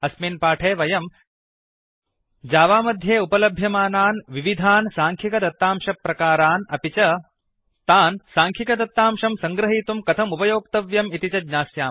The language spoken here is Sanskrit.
अस्मिन् पाठे वयम् जावा मध्ये उपलभ्यमानान् विविधान् साङ्ख्यिकदत्तांशप्रकारान् अपि च तान् साङ्ख्यिकदत्तांशं सङ्ग्रहीतुं कथम् उपयोक्तव्यम् इति च ज्ञास्यामः